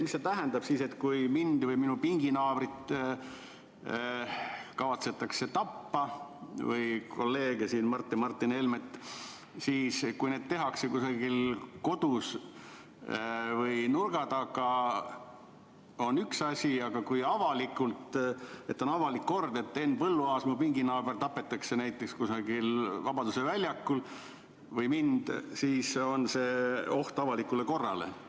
Mida see tähendab järgmises olukorras: kui mind, minu pinginaabrit või kolleege Mart ja Martin Helmet kavatsetakse tappa, kas siis, kui seda tehakse kusagil kodus või nurga taga, on tegemist ühe asjaga, aga kui avalikult – näiteks Henn Põlluaas, mu pinginaaber, tapetakse kusagil Vabaduse väljakul, või tapetakse mind –, siis see on oht avalikule korrale?